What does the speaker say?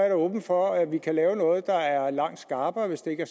er åben for at vi kan lave noget der er langt skarpere hvis det ikke er